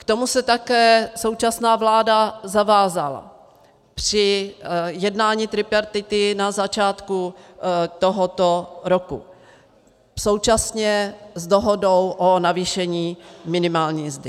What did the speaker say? K tomu se také současná vláda zavázala při jednání tripartity na začátku tohoto roku současně s dohodou o navýšení minimální mzdy.